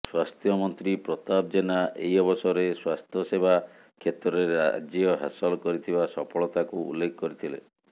ସ୍ୱାସ୍ଥ୍ୟମନ୍ତ୍ରୀ ପ୍ରତାପ ଜେନା ଏହି ଅବସରରେ ସ୍ୱାସ୍ଥ୍ୟସେବା କ୍ଷେତ୍ରରେ ରାଜ୍ୟ ହାସଲ କରିଥିବା ସଫଳତାକୁ ଉଲ୍ଲେଖ କରିଥିଲେ